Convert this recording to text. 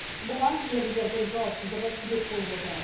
бұған мердігердің жауапсыздығы себеп болып отыр